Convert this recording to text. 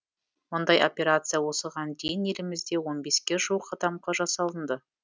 мұндай операция осыған дейін елімізде он беске жуық адамға жасалынды